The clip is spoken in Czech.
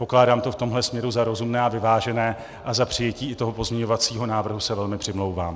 Pokládám to v tomto směru za rozumné a vyvážené a za přijetí i toho pozměňovacího návrhu se velmi přimlouvám.